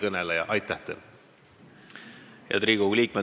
Head Riigikogu liikmed!